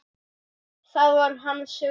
Það var hans rútína.